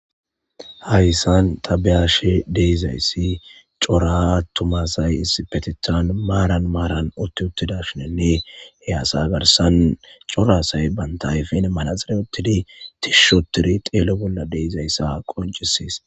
Hayssan tabeyashe deizayssi cora tumasay is petethan maaran maaran utti uttidashinenne he asa garsan corasay bantayfin manazire uttidi tishshotiri xeelo bolla deizayssa qoncisies.